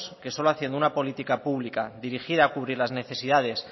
que solo haciendo una política pública dirigida a cubrir las necesidades